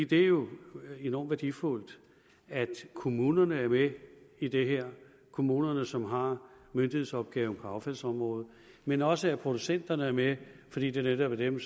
det er jo enormt værdifuldt at kommunerne er med i det her kommunerne som har myndighedsopgaven på affaldsområdet men også at producenterne er med fordi det netop er dem